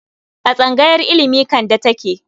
A tsangayar ilimi Kande take.